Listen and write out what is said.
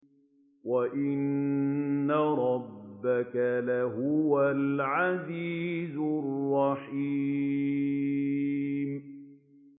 وَإِنَّ رَبَّكَ لَهُوَ الْعَزِيزُ الرَّحِيمُ